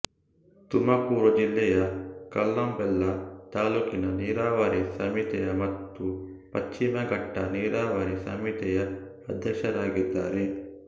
ತುಮಕೂರು ಜಿಲ್ಲೆಯಕಲ್ಲಂಬೆಲ್ಲ ತಾಲೂಕಿನ ನೀರಾವರಿ ಸಮಿತಿಯ ಮತ್ತು ಪಶ್ಚಿಮ ಗಟ್ಟಾ ನೀರಾವರಿ ಸಮಿತಿಯ ಅಧ್ಯಕ್ಷರಾಗಿದ್ದಾರೆ